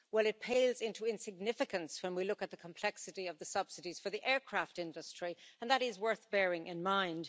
Well it pales into insignificance when we look at the complexity of the subsidies for the aircraft industry, and that is worth bearing in mind.